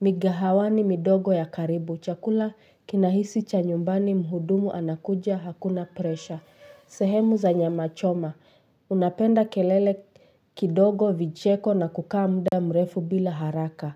migahawani midogo ya karibu. Chakula kinahisi cha nyumbani mhudumu anakuja hakuna presha. Sehemu za nyama choma. Ninapenda kelele kidogo, vicheko na kukaa muda mrefu bila haraka.